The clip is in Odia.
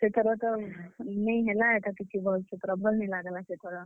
ସେଥର ତ ନେଇ ହେଲା ଇଟା ଟିକେ ଭଲ୍ ସେ ପୁରା ଭଲ୍ ନି ଲାଗ୍ ଲା ସେଥର।